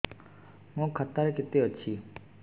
ମୋ ଖାତା ରେ କେତେ ଅଛି